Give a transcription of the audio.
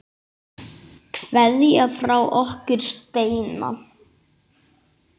Kveðja frá okkur Steina.